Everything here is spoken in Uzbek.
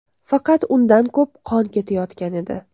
Faqat undan ko‘p qon ketayotgan edi.